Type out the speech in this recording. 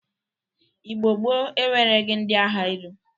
Igbo gboo enwereghi ndị agha elu.